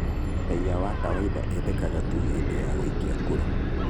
Raia wa kawainda endekanaga tu hĩndĩ ya gũikia kura